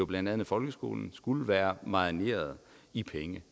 blandt andet folkeskolen skulle være marineret i penge